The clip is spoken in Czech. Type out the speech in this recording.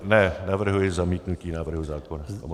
Ne, navrhuji zamítnutí návrhu zákona.